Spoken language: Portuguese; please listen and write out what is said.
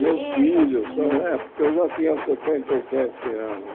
Meus filhos e tal é, porque eu já tinha setenta e sete anos.